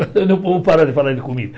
Vamos parar de falar de comida.